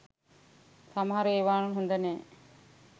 සමහර එවා හොඳනෑ